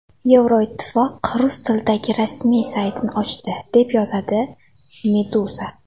Yevroittifoq rus tilidagi rasmiy saytini ochdi, deb yozadi Meduza.